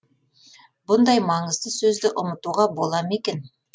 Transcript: бұндай маңызды сөзді ұмытуға бола ма екен